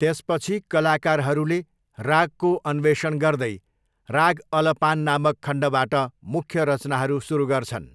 त्यसपछि कलाकारहरूले रागको अन्वेषण गर्दै राग अलपान नामक खण्डबाट मुख्य रचनाहरू सुरु गर्छन्।